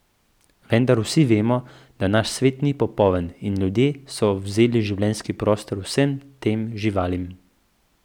Vendar vsi vemo, da naš svet ni popoln in ljudje so vzeli življenjski prostor vsem tem živalim.